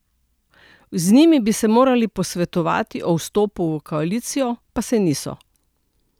Z njimi bi se morali posvetovati o vstopu v koalicijo, pa se niso.